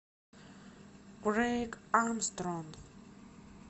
крэйг армстронг